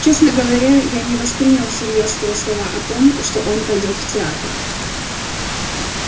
честно говоря я не воспринял всерьёз его слова о том что он пойдёт в театр